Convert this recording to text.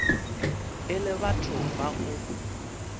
e le batho ba go